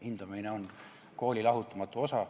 Hindamine on kooli lahutamatu osa.